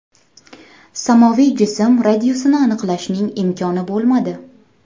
Samoviy jism radiusini aniqlashning imkoni bo‘lmadi.